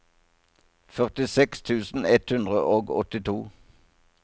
førtiseks tusen ett hundre og åttito